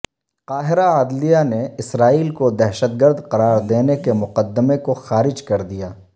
قاہرہ عدلیہ نے اسرائیل کودہشت گرد قراردینے کے مقدمے کوخارج کردیا